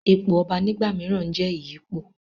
ipò ọba nígbà mìíràn n jẹ́ ìyípo